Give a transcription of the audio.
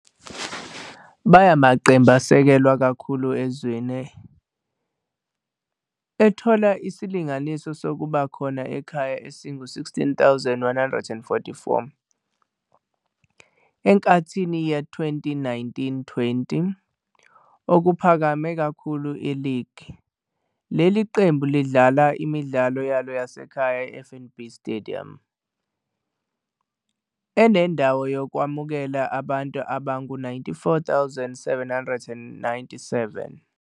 Bayamaqembu asekelwa kakhulu ezweni, ethola isilinganiso sokubakhona ekhaya esingu-16,144 enkathini ye-2019-20, okuphakeme kakhulu e-"league". Leli qembu lidlala imidlalo yalo yasekhaya e-"FNB Stadium" enendawo yokwamukela abantu abangu-94,797.